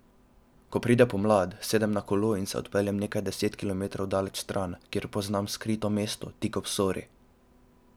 Ko pride pomlad, sedem na kolo in se odpeljem nekaj deset kilometrov daleč stran, kjer poznam skrito mesto, tik ob Sori.